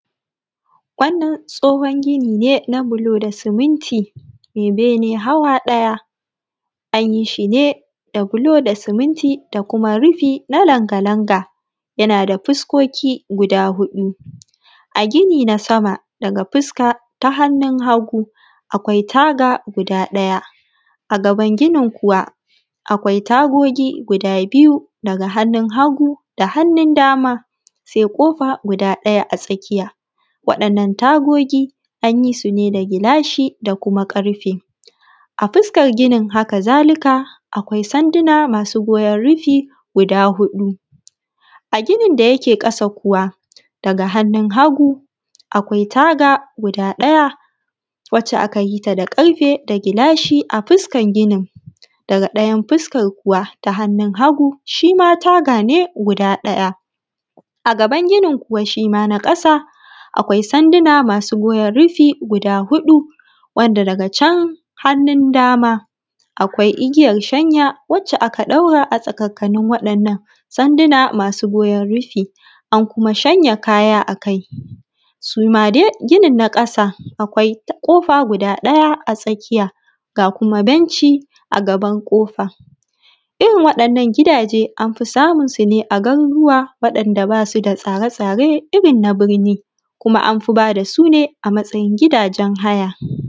wannan tsohon gini ne na bulo da siminti mai ɓene hawa ɗaya an yi shi ne da bulo da siminti da kuma rufi na langa-langa yana da fuskoki guda huɗu a gini na sama daga fuska ta hannun hagu akwai taga guda ɗaya a gaban ginin kuwa akwai tagogi guda biyu daga hanun hagu da hanun dama sai ƙofa guda ɗaya a sama sai ƙofa guda ɗaya a tsakiya waɗannan tagogi an yi su ne gilashi da kuma ƙarfe a fuskar ginin haka zalika akwai sanduna masu goyen rufi guda huɗu a ginin da yake ƙasa kuwa daga hanun hagu akwai taga guda ɗaya wace aka yi ta da ƙarfe da gilashi a fuskar ginin daga ɗaya fuskar kuwa taa hannun hagu shima taga ne guda ɗaya a gaban ginin kuwa shima na ƙasa akwai sanduna masu goyen rufi guda huɗu wanda daga can hannun dama akwai igiyar shanya wacce aka ɗaura a tsakakanin waɗannan tsanduna masu goyen rufi an kuma shanya kaya akai su ma dai ginin na ƙasa akwai ta kofa guda ɗaya a tsakiya ga kuma benshi a gaban kofar irin waɗannan gidaje an fi samunsu a garuruwa waɗanda basu da tsare-tsare irin na birni kuma amfi bada su ne a matsayin gidajen haya.